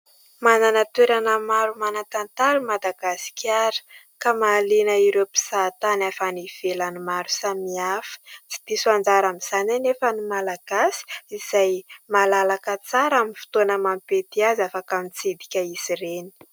Manana toerana maro manan-tantara i Madagasikara ka mahaliana ireo mpizahatany avy any ivelany maro samihafa. Tsy diso anjara amin'izany anefa ny malagasy izay malalaka tsara amin'ny fotoana mampety azy afaka mitsidika izy ireny.